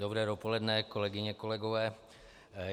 Dobré dopoledne, kolegyně, kolegové.